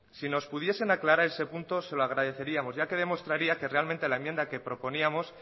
si nos pudiesen aclarar ese punto se lo agradeceríamos ya que demostraría que realmente la enmienda que proponíamos